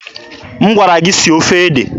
M gwara gị sie ofe ede!